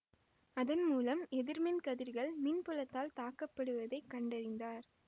அதன் மூலம் எதிர்மின் கதிர்கள் மின்புலத்தால் தாக்கப்படுவதைக் கண்டறிந்தார்